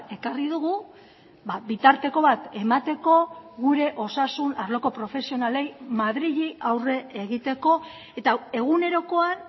ekarri dugu bitarteko bat emateko gure osasun arloko profesionalei madrili aurre egiteko eta egunerokoan